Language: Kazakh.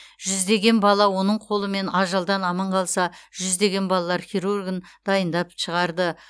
жүздеген бала оның қолымен ажалдан аман қалса жүздеген балалар хирургін дайындап шығарды